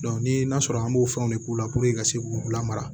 ni n'a sɔrɔ an b'o fɛnw de k'u la puruke ka se k'u lamara